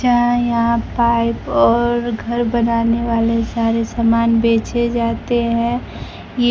जहां यहां पाइप और घर बनाने वाले सारे समान बेचे जाते हैं --